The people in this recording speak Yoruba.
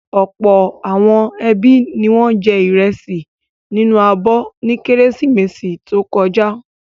Ọ̀pọ̀ àwọn ẹbí ni wọ́n jẹ ìrẹsì nínú abọ́ ní Kérésìmesì tó kọjá.